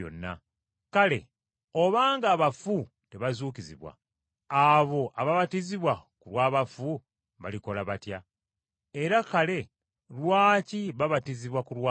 Kale obanga abafu tebazuukizibwa, abo ababatizibwa ku lw’abafu balikola batya? Era kale lwaki babatizibwa ku lwabwe?